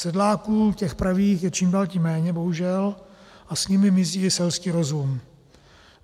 Sedláků, těch pravých, je čím dál tím méně bohužel a s nimi mizí i selský rozum.